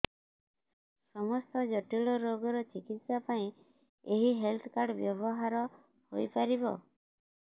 ସମସ୍ତ ଜଟିଳ ରୋଗର ଚିକିତ୍ସା ପାଇଁ ଏହି ହେଲ୍ଥ କାର୍ଡ ବ୍ୟବହାର ହୋଇପାରିବ